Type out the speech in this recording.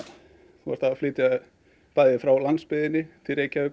þú ert að flytja bæði frá landsbyggðinni til Reykjavíkur